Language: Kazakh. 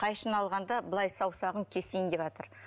қайшыны алғанда былай саусағын кесейін деватыр